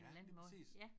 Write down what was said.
Ja lige præcis